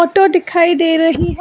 To दिखाई दे रही है।